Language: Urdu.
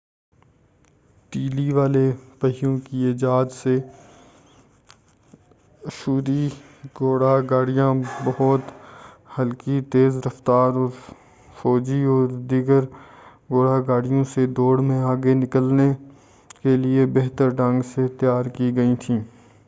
تیلی والے پہیوں کی ایجاد نے اشوری گھوڑا گاڑیاں بہت ہلکی تیز رفتار اور فوجیوں و دیگر گھوڑا گاڑیوں سے دوڑ میں آگے نکلنے کیلئے بہتر ڈھنگ سے تیار کی گئیں تھیں